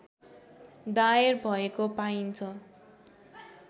दायर भएको पाइन्छ